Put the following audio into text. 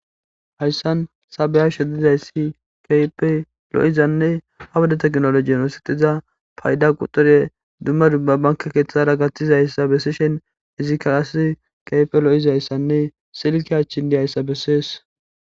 Hayissan ta beyashshe dizayissi kehippe lo'izanne ha wode technologn oththetida payida quxure dumma dumma banke keththara gaththizayissa bisishshin izikka qase kehippe lo'izayissanne silke achchan dizayissa besses